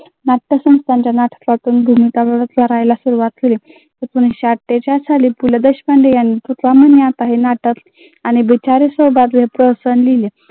करायला सुरुवात केली. एकोणविसशे अठ्ठेचाळ साली पु ल देशपांडे यांनी हे नाटक